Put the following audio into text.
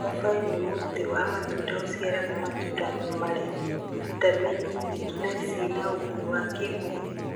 Mũbabaĩ nĩ mũtĩ wa matunda ũciaraga matunda marĩ vitameni nyingĩ na cina ũguni wa kĩmwĩrĩ.